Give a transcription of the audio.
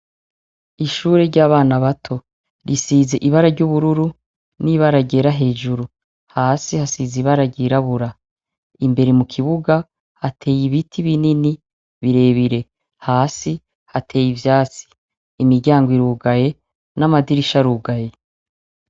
Ishure ry'abana bato: risize ibara ry'ubururu n'ibara ryera hejuru. Hasi hasize ibara ryirabura. Imbere mu kibuga hateye ibiti binini birebire. Hasi hatey'ivyatsi. Imiryango irugaye, n'amadirisha arugaye.